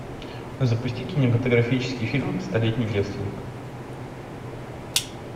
запусти кинематографический фильм столетний девственник